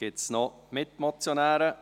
Gibt es noch Mitmotionäre?